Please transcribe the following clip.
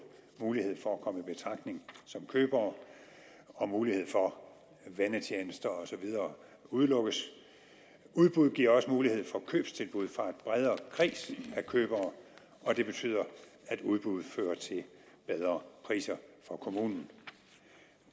mulighed for at komme i betragtning som købere og mulighed for vennetjenester og så videre udelukkes udbud giver også mulighed for købstilbud fra en bredere kreds af købere og det betyder at udbuddet fører til bedre priser for kommunen